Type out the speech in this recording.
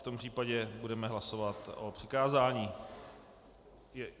V tom případě budeme hlasovat o přikázání.